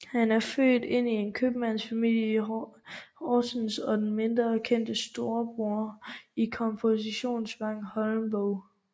Han var født ind i en købmandsfamilie i Horsens og den mindre kendte storbror til komponisten Vagn Holmboe